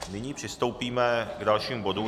Nyní přistoupíme k dalšímu bodu.